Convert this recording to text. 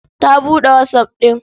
Ta buɗe WhatsApp ɗin.